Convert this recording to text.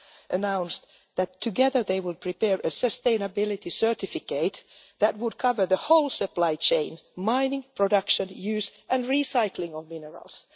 announced that together they would prepare a sustainability certificate that would cover the whole supply chain mining, production, use and recycling of minerals.